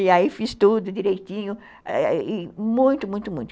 E aí fiz tudo direitinho, muito, muito, muito.